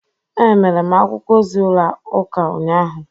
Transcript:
Emere m akwụkwọ ozi ụlọ ụka ụnyahụ.